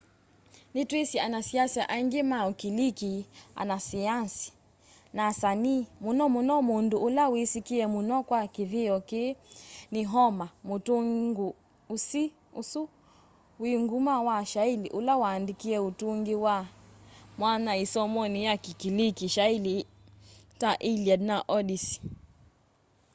nitwisi anasiasa aingi ma ukiliki anasayanzi na asanii muno muno mundu ula wisikie muno kwa kithio kii ni homer mutungi usu wi nguma wa shaili ula waandikie utungi wi mwanya isomoni ya kikiliki shaili ta iliad na odyssey